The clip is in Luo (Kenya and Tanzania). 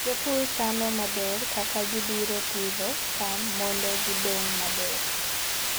Jopur chano maber kaka gibiro pidho cham mondo gidong maber.